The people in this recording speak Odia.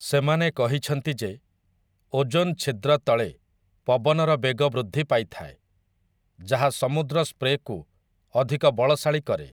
ସେମାନେ କହିଛନ୍ତି ଯେ ଓଜୋନ୍ ଛିଦ୍ର ତଳେ ପବନର ବେଗ ବୃଦ୍ଧି ପାଇଥାଏ, ଯାହା ସମୁଦ୍ର ସ୍ପ୍ରେକୁ ଅଧିକ ବଳଶାଳୀ କରେ ।